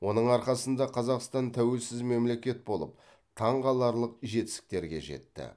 оның арқасында қазақстан тәуелсіз мемелекет болып таңқаларлық жетістіктерге жетті